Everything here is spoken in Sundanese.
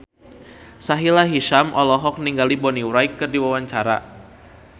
Sahila Hisyam olohok ningali Bonnie Wright keur diwawancara